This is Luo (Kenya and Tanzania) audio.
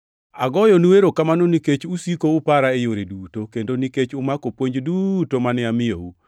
Agoyonu erokamano nikech usiko upara e yore duto, kendo nikech umako puonj duto mane amiyou.